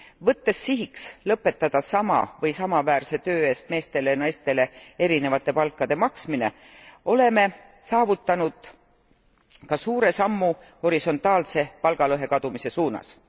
Võttes sihiks lõpetada sama või samaväärse töö eest meestele ja naistele erinevate palkade maksmine, oleme saavutanud ka suure sammu horisontaalse palgalõhe kadumise suunas.